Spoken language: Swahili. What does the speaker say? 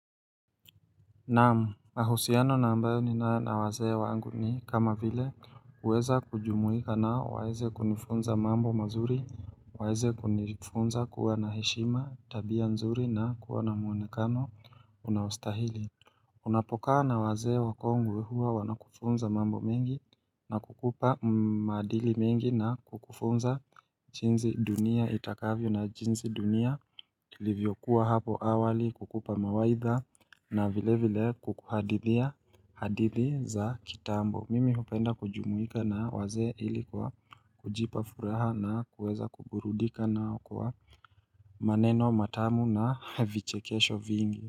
Naam, mahusiano na ambayo ninayo na wazee wangu ni kama vile huweza kujumuika nao waeze kunifunza mambo mazuri, waeze kunifunza kuwa na heshima tabia nzuri na kuwa na mwonekano unaostahili. Unapokaa na wazee wakongwe huwa wanakufunza mambo mengi na kukupa maadili mengi na kukufunza jinsi dunia itakavyo na jinsi dunia ilivyokuwa hapo awali kukupa mawaidha na vile vile kukuhadithia hadithi za kitambo. Mimi hupenda kujumuika na wazee ili kwa kujipa furaha na kuweza kuburudika na kwa maneno matamu na vichekesho vingi.